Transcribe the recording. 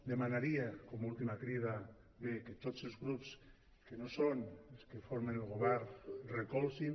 demanaria com a última crida bé que tots els grups que no són els que formen el govern recolzin